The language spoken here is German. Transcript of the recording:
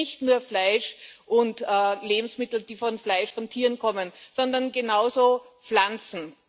Aber hier nicht nur Fleisch und Lebensmittel, die vom Fleisch von Tieren kommen, sondern genauso Pflanzen.